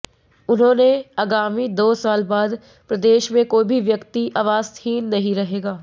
उन्होंने आगामी दो साल बाद प्रदेश में कोई भी व्यक्ति आवास हीन नहीं रहेगा